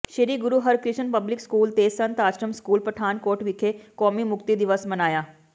ਸ੍ਰੀ Guru Harkrishan public school ਤੇ Sant Ashram school Pathankot ਵਿਖੇ ਕੌਮੀ ਮੁਕਤੀ ਦਿਵਸ ਮਨਾਇਆ